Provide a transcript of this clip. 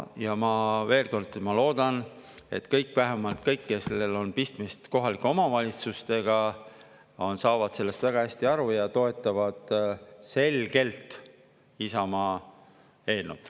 Ja veel kord: ma loodan, et vähemalt kõik, kellel on pistmist kohalike omavalitsustega, saavad sellest väga hästi aru ja toetavad selgelt Isamaa eelnõu.